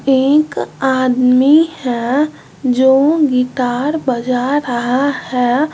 एक आदमी है जो गिटार बजा रहा है।